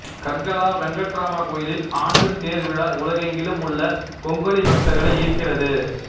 கர்கலா வெங்கடராம கோயிலில் ஆண்டு தேர்த் விழா உலகெங்கிலும் உள்ள கொங்கணி பக்தர்களை ஈர்க்கிறது